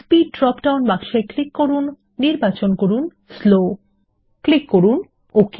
speed drop down বাক্সে click করুন slow নির্বাচন করুন এবং ক্লিক করুন ওক